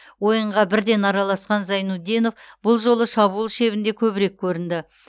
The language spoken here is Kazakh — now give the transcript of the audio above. ойынға бірден араласқан зайнутдинов бұл жолы шабуыл шебінде көбірек көрінді